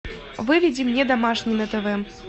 выведи мне домашний на тв